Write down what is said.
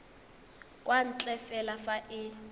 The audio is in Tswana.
kwa ntle fela fa e